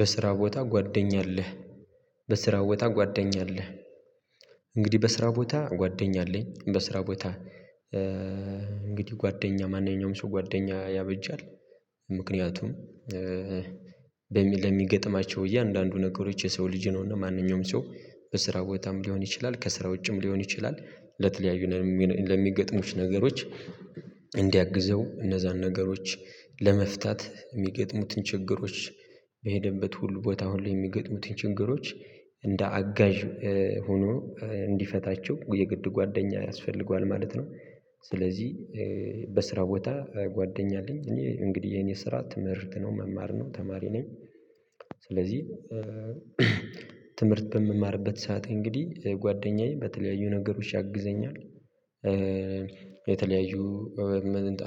በስራ ቦታ ጓደኛ አለህ በስራ ቦታ ጓደኛ አለህ እንግዲህ በስራ ቦታ ጓደኛ አለኝ በስራ ቦታ እንግዲህ ጓደኛ ማንኛውም ሰው ጓደኛ ያበጃል ምክንያቱም በሚል ለሚገጥማቸው እያንዳንዱ ነገሮች የሰው ልጅ ነውና ማንኛውም ሰው በስራ ቦታም ልሆን ይችላል ከስራ ውጭም ልሆን ይችላል ለተለያዩ ለሚገጥሙት ነገሮች እንዲያግዘው እነዛን ነገሮች ለመፍታት ሚገጥሙትን ችግሮች በሄደበት ሁሉ ቦታ አሁን ላይ የሚገጥሙትን ችግሮች እንደ አጋዥ ሆኖ እንዲፈታቸው የግድ ጓደኛ ያስፈልገዋል ማለት ነው። ስለዚህ በስራ ቦታ ጓደኛ አለኝ እኔ እንግዲህ የኔ ስራ ትምህርት ነው መማር ነው ተማሪ ነኝ ስለዚህ ትምህርት በምማርበት ሰዓት እንግዲህ ጓደኛዬ በተለያዩ ነገሮች ያግዘኛል። የተለያዩ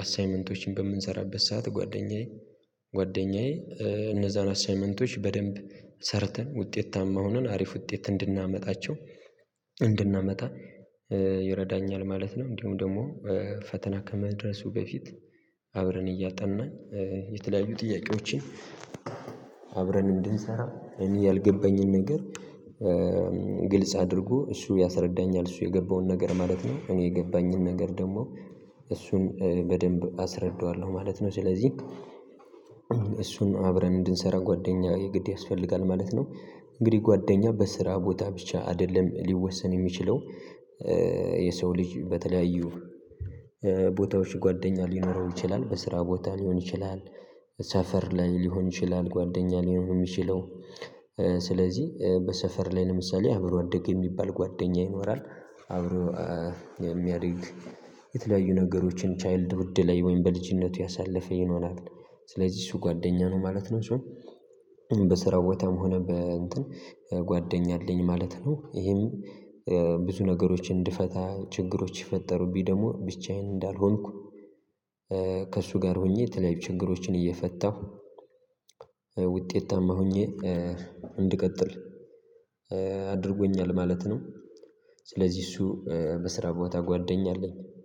አሳይመንቶችን በምንሰራበት ሰዓት ጓደኛዬ ጓደኛዬ እነዛን አሳይመንቶች በደንብ ሰርተን ውጤታማ ሆነን አሪፍ ውጤት እንድናመጣቸው እንድናመጣ ይረዳኛል ማለት ነው። እንዲሁም ደግሞ ፈተና ከመድረሱ በፊት አብረን እያጠናን የተለያዩ ጥያቄዎችን አብረን እንድንሠራ እኔ ያልገባኝን ነገር ግልጽ አድርጎ እሱ ያስረዳኛል እሱ የገባውን ነገር ማለት ነው። እኔ የገባኝን ነገር ደግሞ እሱን በደንብ አስረዳዋለሁ ማለት ነው። ስለዚህ እሱን አብረን እንድንሠራ ጓደኛ የግድ ያስፈልጋል ማለት ነው። እንግዲህ ጓደኛ በስራ ቦታ ብቻ አይደለም ልወሰን የሚችለው የሰው ልጅ በተለያዩ ቦታዎች ጓደኛ ልኖረው ይችላል በስራ ቦታ ልሆን ይችላል ሰፈር ላይ ልሆን ይችላል ጓደኛ ልሆን የሚችለው ስለዚህ በሰፈር ላይ ለምሳሌ አብሮ አደገ የሚባል ጓደኛ ይኖራል አብሮ የሚያድግ የተለያዩ ነገሮችን ቻይልድ ውድ ላይ ወይም በልጅነቱ ያሳለፈ ይኖራብን ስለዚህ እሱ ጓደኛ ነው ማለት ነው። በስራው ቦታም ሆነ በእንትን ጓደኛ አለኝ ማለት ነው። ይሄም ብዙ ነገሮችን እንድፈታ ችግሮች ይፈጠሩብኝ ደግሞ ብቻዬን እንዳልሆንኩ ከእሱ ጋር ሆኜ የተለያዩ ችግሮችን እየፈታሁ ውጤታማ ሆኜ እንድቀጥል አድርጎኛል ማለት ነው። ስለዚህ እሱ በስራ ቦታ ጓደኛ አለኝ